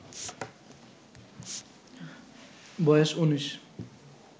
বয়েস ১৯